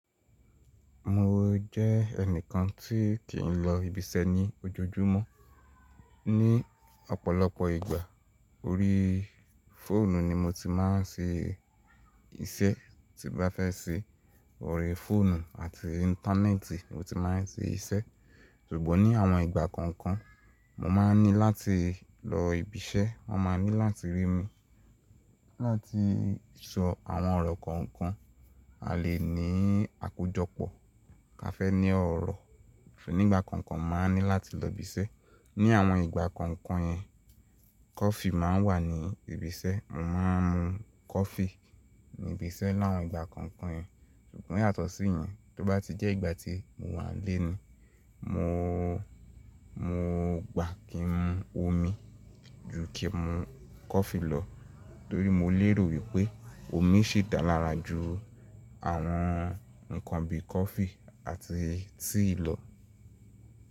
Mo jẹ́ ẹnìkan tí kì í lọ ibiṣẹ́ ní ojojúmọ́. Ni ọ̀pọ̀lọpọ̀ ìgbà, orí fóònù ni mo ti máa ń se isẹ́ tí bá fẹ́ se. Orí fóònù àti íńtánẹ́ẹ̀tì mo ti máa ń se isẹ́. Ṣùgbọ́n ní àwọn ìgbà kọ̀ọ̀kan, mo máa n ní láti lọ ibiṣẹ́. Wọ́n máa ní láti rí mi láti sọ àwọn ọ̀rọ̀ kọ̀ọ̀kan. A lè ní àkójọpọ̀ ká fẹ́ ní ọ̀rọ̀. Nígbà kọ̀ọ̀kan máa ní láti lọ ibiṣẹ́. Ní àwọn ìgbà kọ̀ọ̀kan yẹn, kọfí máa ń wà ní ibisẹ́. Mo máa ń mu kọfí ní ibisẹ́ láwọn ìgbà kọ̀ọ̀kan yẹn. Ṣùgbọ́n yàtọ̀ sí ìyẹn, tó bá ti jẹ́ ìgbà tí mo wà nlé ni, mo, mo gbà kí n mu omi ju kí n mu kọfí lọ. Nítorí mo léèrò wípé omi ṣí dá lára ju àwọn ǹkan bí i kọfí àti tíì lọ.